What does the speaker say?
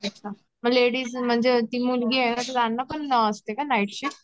अच्छा लेडीज म्हणजे टी मुलगी आहे त्यांना पण आसते का नाइट शिफ्ट